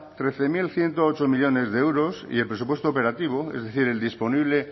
trece mil ciento ocho millónes de euros y el presupuesto operativo es decir el disponible